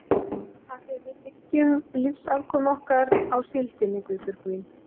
Af því að við byggjum lífsafkomu okkar á síldinni, Guðbjörg mín.